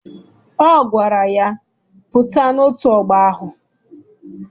Ọ gwara ya, pụta n'otu ọgbọ ahụ!